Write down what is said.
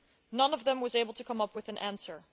None of them was able to come up with an answer.